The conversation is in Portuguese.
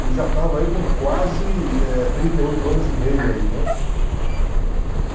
E já estava aí com quase eh trinta e oito anos e meio aí né?